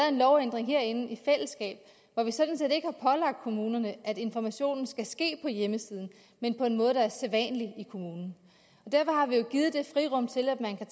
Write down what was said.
en lovændring herinde i fællesskab hvor vi sådan set ikke har pålagt kommunerne at informationen skal ske på hjemmesiden men på en måde der er sædvanlig i kommunen derfor har vi jo givet et frirum til at man kan